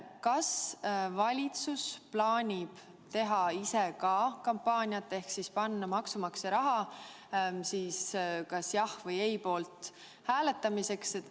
Kas valitsus plaanib teha ka kampaaniat ehk siis kasutada maksumaksja raha kas "jah" või "ei" poolt hääletamise veenmiseks?